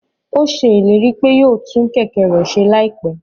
Ó ṣe ìlérí pé yóò tún Kẹ̀kẹ́ rẹ̀ ṣe láìpẹ́